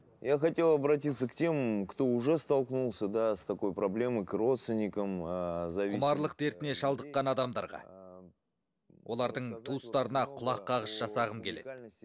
я хотел обратиться к тем кто уже столкнулся да с такой проблемой к родственникам құмарлық дертіне шалдыққан адамдарға олардың туыстарына құлаққағыс жасағым келеді